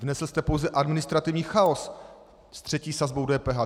Vnesl jste pouze administrativní chaos se třetí sazbou DPH.